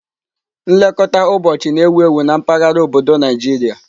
Nlekọta ụbọchị na-ewu ewu na mpaghara obodo Nigeria.